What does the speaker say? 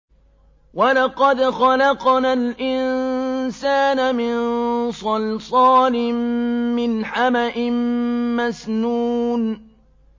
وَلَقَدْ خَلَقْنَا الْإِنسَانَ مِن صَلْصَالٍ مِّنْ حَمَإٍ مَّسْنُونٍ